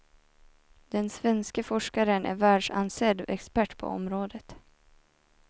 Den svenske forskaren är världsansedd expert på området.